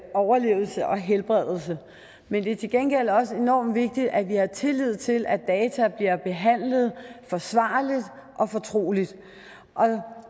overlevelse og helbredelse men det er til gengæld også enormt vigtigt at vi har tillid til at data bliver behandlet forsvarligt og fortroligt